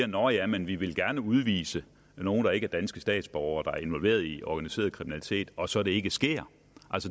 nå ja men vi vil gerne udvise nogle der ikke er danske statsborgere er involveret i organiseret kriminalitet og det så ikke sker